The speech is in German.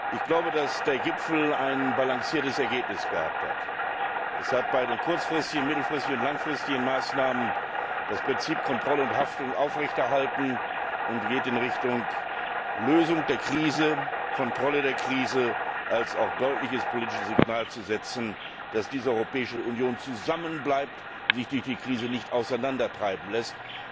Ich glaube, dass der Gipfel ein ausgewogenes Ergebnis hatte. Es hat bei den kurz mittel und langfristigen Maßnahmen das Prinzip Kontrolle und Haftung aufrechterhalten, geht in Richtung Lösung der Krise, Kontrolle der Krise und hat auch das deutliche politische Signal gesetzt, dass diese Europäische Union zusammenbleibt und sich durch die Krise nicht auseinandertreiben lässt.